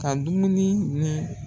Ka dumuni ni.